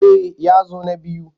Eh ya zo na biyu.